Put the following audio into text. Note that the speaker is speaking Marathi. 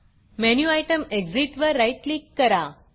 मेनू आयटम Exitएग्ज़िट वर राईट क्लिक करा